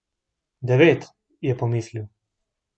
Devet, je pomislil.